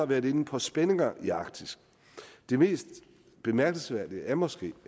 været inde på spændinger i arktis det mest bemærkelsesværdige er måske